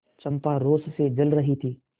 चंपा रोष से जल रही थी